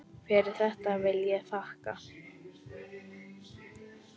Fyrir þetta vil ég þakka.